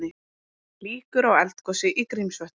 Líkur á eldgosi í Grímsvötnum